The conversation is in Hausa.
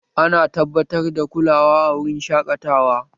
Ana tabbatar da kulawa a wurin shaƙatawa